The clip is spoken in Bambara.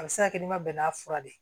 A bɛ se ka kɛ n'i ma bɛn n'a fura de ye